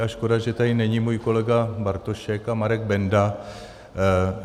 A škoda, že tady není můj kolega Bartošek a Marek Benda.